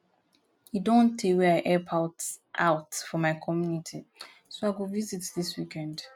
e don tey wey i help out out for my community so i go visit dis weekend